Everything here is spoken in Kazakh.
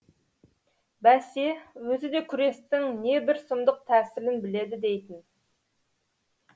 бәсе өзі де күрестің не бір сұмдық тәсілін біледі дейтін